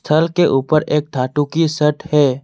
के ऊपर एक धातु की सैट है।